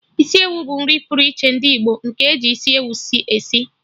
Isiewu bụ nri pụrụ iche ndị Igbo, nke eji isi ewu esi